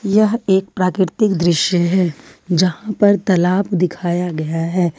यह एक प्राकृतिक दृश्य है यहां पर तलाब दिखाया गया है।